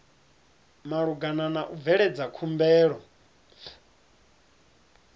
malugana na u bveledza khumbelo